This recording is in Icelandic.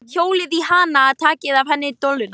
Hjólið í hana. takið af henni dolluna!